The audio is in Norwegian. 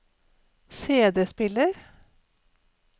CD-spiller